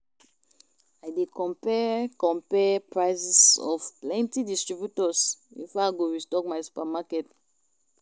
I dey compare compare prices of plenty distributors before I go restock my supermarket.